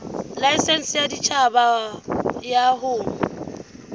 laesense ya boditjhaba ya ho